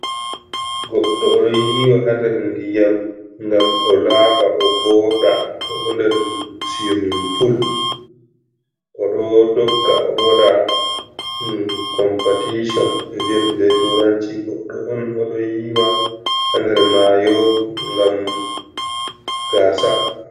Goɗɗo oɗo yiwa ha nder ndiyam gam o laɓa o voɗa oɗo nder sumin pul, oɗo dogga o waɗa competition e viata be turanci goɗɗo on oɗo yiwa ha nder mayo gam gasa.